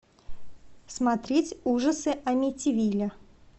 смотреть ужасы амитивилля